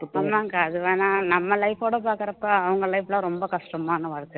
ஆமாங்கா அது வேணாம் நம்ம life ஓட பாக்குறப்ப அவங்க life ல ரொம்ப கஷ்டமான வாழ்க்கை